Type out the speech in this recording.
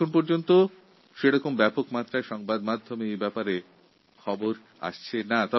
এখনও পর্যন্ত এই বিষয়টি প্রচারমাধ্যম ব্যাপকভাবে তুলে ধরে নি